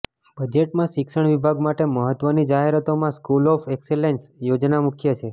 બજેટમાં શિક્ષણ વિભાગ માટે મહત્ત્વની જાહેરાતોમાં સ્કૂલ ઓફ એક્સેલન્સ યોજના મુખ્ય છે